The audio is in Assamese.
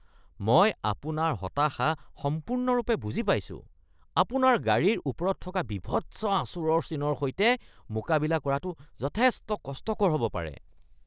মই আপোনাৰ হতাশা সম্পূৰ্ণৰূপে বুজি পাইছো। আপোনাৰ গাড়ীৰ ওপৰত থকা বীভৎস আচোঁৰৰ চিনৰ সৈতে মোকাবিলা কৰাটো যথেষ্ট কষ্টকৰ হ'ব পাৰে।